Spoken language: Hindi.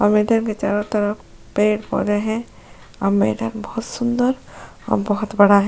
और मैदान के चारों तरफ पेड़ पौधे हैं और मैदान बहुत सुंदर और बहुत बड़ा हैं।